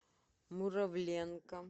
муравленко